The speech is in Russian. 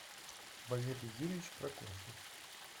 валерий юрьевич прокофьев